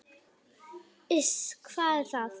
"""Iss, hvað er það?"""